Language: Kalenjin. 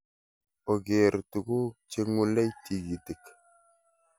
ogeere tuguk cheng'ulei kitikin